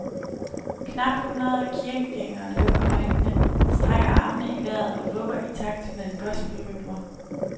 Knap hundrede kirkegængere lukker øjnene, strækker armene i vejret og vugger i takt med gospelrytmer.